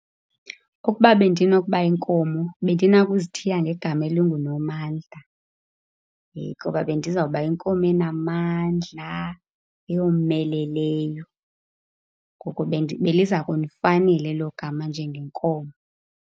Ukuba bendinokuba yinkomo, bendinakuzithiya ngegama elinguNomandla ngoba bendizawuba yinkomo enamandla, eyomeleleyo. Ngoko beliza kundifanela elo gama njengenkomo.